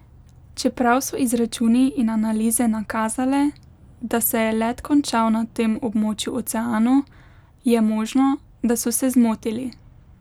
Čeprav so izračuni in analize nakazale, da se je let končal na tem območju oceanu, je možno, da so se zmotili.